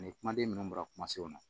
Ni kumaden minnu bɔra kumasenw na